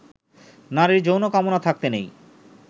নারীর যৌন কামনা থাকতে নেই